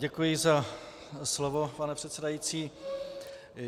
Děkuji za slovo, pane předsedající.